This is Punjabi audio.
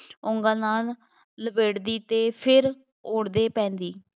ਉਂਗਲ ਨਾਲ ਲਪੇਟਦੀ ਅਤੇ ਫੇਰ ਉਧੇੜ ਪੈਂਦੀ